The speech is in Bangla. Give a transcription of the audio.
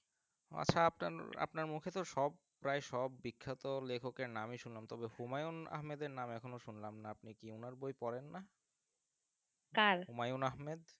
আচ্ছা আপনার আপনার মুখে তো সব প্রায় সব বিখ্যাত লেখকের নামই শুনলাম তবে হুমায়ুন আহমেদের নাম এখনও শুনলাম না আপনি কি ওনার বই পড়েন না হুমায়ুন আহমেদ